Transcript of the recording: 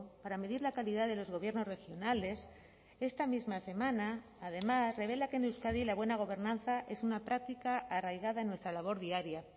para medir la calidad de los gobiernos regionales esta misma semana además revela que en euskadi la buena gobernanza es una práctica arraigada en nuestra labor diaria